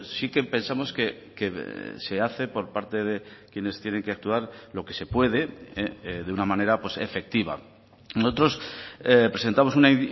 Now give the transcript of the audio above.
sí que pensamos que se hace por parte de quienes tienen que actuar lo que se puede de una manera efectiva nosotros presentamos una